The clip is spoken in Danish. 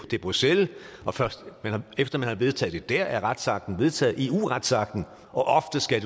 til bruxelles og først efter man har vedtaget det der er retsakten vedtaget eu retsakten og ofte skal